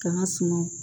K'an ka suma